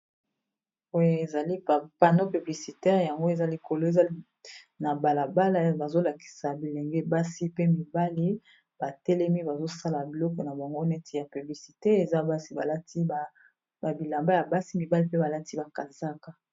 oyo ezali pano publicitaire yango eza likolo eza na balabala bazolakisa bilenge basi pe mibali batelemi bazosala biloko na bango neti ya publicite eza basi balati babilamba ya basi mibali mpe balati bakazaka